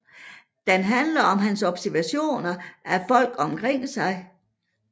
Den handler om hans observationer af folk omkring sig